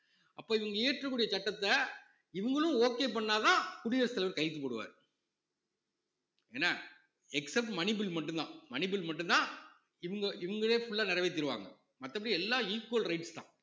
அப்ப இவங்க இயற்றக்கூடிய சட்டத்தை இவங்களும் okay பண்ணா தான் குடியரசுத் தலைவர் கையெழுத்து போடுவாரு என்ன except money bill மட்டும்தான் money bill மட்டும்தான் இவங்க இவங்களே full ஆ நிறைவேத்திடுவாங்க மத்தபடி எல்லாம் equal rights தான்